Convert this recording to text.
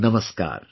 Namaskar